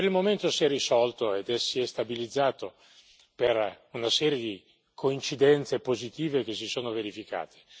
Per il momento si è risolto e si è stabilizzato, per una serie di coincidenze positive che si sono verificate.